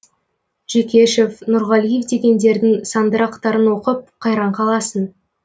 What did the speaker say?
жүкешев нұрғалиев дегендердің сандырақтарын оқып қайран қаласың